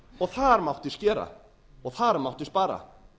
og þar mátti skera og þar mátti spara